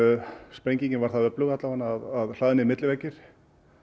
sprengingin var það öflug að hlaðnir milliveggir